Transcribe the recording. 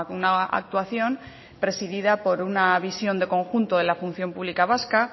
una actuación presidida por una visión de conjunto de la función pública vasca